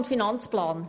Zum VA und AFP: